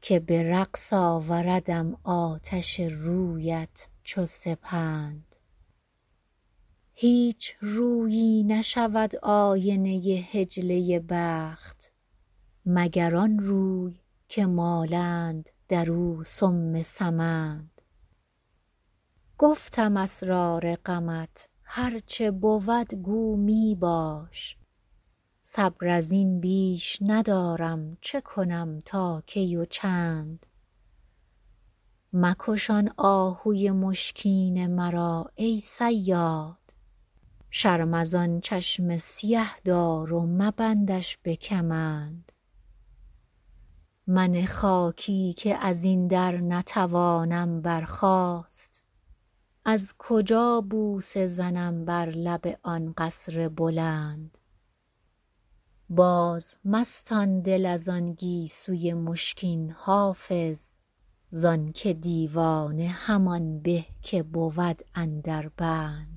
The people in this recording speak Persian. که به رقص آوردم آتش رویت چو سپند هیچ رویی نشود آینه حجله بخت مگر آن روی که مالند در آن سم سمند گفتم اسرار غمت هر چه بود گو می باش صبر از این بیش ندارم چه کنم تا کی و چند مکش آن آهوی مشکین مرا ای صیاد شرم از آن چشم سیه دار و مبندش به کمند من خاکی که از این در نتوانم برخاست از کجا بوسه زنم بر لب آن قصر بلند بازمستان دل از آن گیسوی مشکین حافظ زان که دیوانه همان به که بود اندر بند